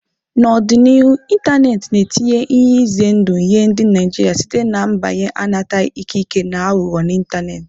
N'ọdịnihu, ịntanetị na-etinye ihe ize ndụ nye ndị Naijiria site na mbanye anataghị ikike na aghụghọ n'ịntanetị,.